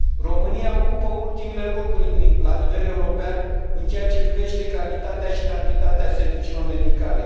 România ocupă ultimele locuri la nivel european în ceea ce privește calitatea și cantitatea serviciilor medicale.